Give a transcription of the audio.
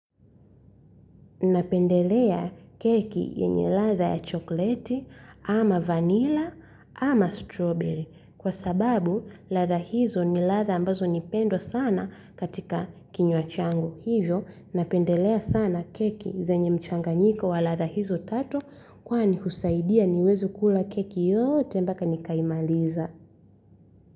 Napendelea keki yenye ladha ya chokoleti ama vanilla ama strawberry kwa sababu ladha hizo ni ladha ambazo nipendwa sana katika kinywa changu. Hivyo napendelea sana keki zenye mchanga nyiko wa ladha hizo tatu kwani husaidia niweze kula keki yote mpaka nikaimaliza.